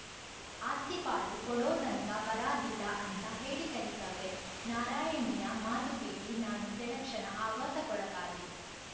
ಆಸ್ತಿ ಪಾಲು ಕೊಡೋತಂಕ ಬರಾದಿಲ್ಲ ಅಂತ ಹೇಳಿಕಳಿಸವ್ರೆ ನಾರಾಯಣಿಯ ಮಾತು ಕೇಳಿ ನಾನು ಕೆಲಕ್ಷಣ ಆಘಾತಕ್ಕೊಳಗಾದೆ